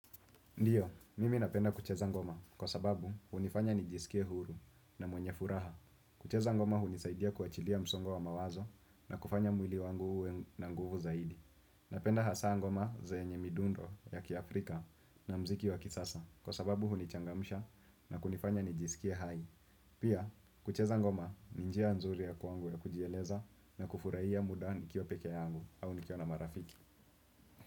Ndiyo, mimi napenda kucheza ngoma kwa sababu hunifanya nijisikie huru na mwenye furaha. Kucheza ngoma hunisaidia kuachilia msongo wa mawazo na kufanya mwili wangu uwe na nguvu zaidi. Napenda hasa ngoma zenye midundo ya kiafrika na muziki wa kisasa kwa sababu hunichangamisha na kunifanya nijisikie hai. Pia, kucheza ngoma ni njia nzuri ya kwangu ya kujieleza na kufurahia muda nikiwa peke yangu au nikiwa na marafiki.